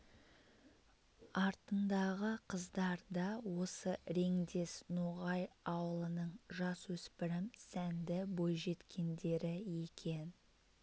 артындағы қыздар да осы реңдес ноғай аулының жасөспірім сәнді бойжеткендері екен